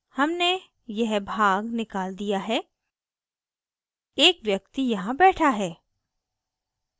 हमने यह भाग निकल दिया है एक व्यक्ति यहाँ बैठा है